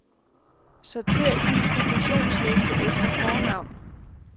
Sortér distributionsliste efter fornavn.